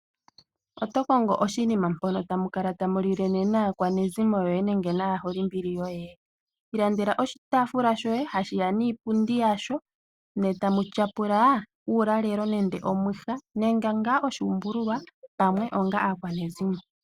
Oto kongo oshinima mpono tamu kala tamu lile naakwanezimo yoye nenge naaholimbili yoye? Ilandela oshitaafula shoye hashiya niipundi yasho ne tamu tyapula uulalelo nenge omwiha onga aakwanezimo.